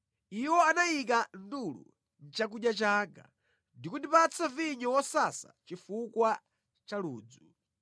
Iwo anayika ndulu mʼchakudya changa ndi kundipatsa vinyo wosasa chifukwa cha ludzu.